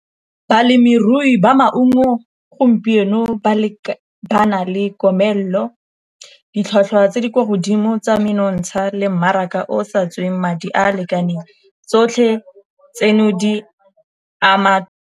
Balemirui ba maungo gompieno ba le ba na le komelelo, ditlhwatlhwa tse di kwa godimo tsa menontsha le mmaraka o sa tsweng madi a a lekaneng tsotlhe tseno di ama.